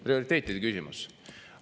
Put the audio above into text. Prioriteetide küsimus.